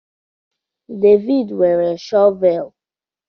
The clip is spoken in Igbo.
Devid nwere shọvel